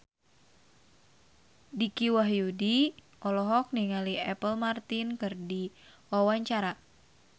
Dicky Wahyudi olohok ningali Apple Martin keur diwawancara